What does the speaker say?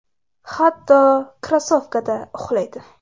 Hatto, krossovkada uxlaydi.